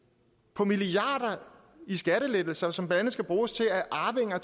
på milliarder i skattelettelser som blandt andet skal bruges til at arvinger